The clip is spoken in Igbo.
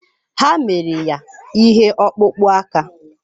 Ha mere ya ihe ọkpụkpụ aka.